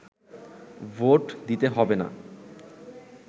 vote দিতে হবে না